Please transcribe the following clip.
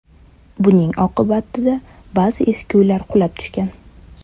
Buning oqibatida ba’zi eski uylar qulab tushgan .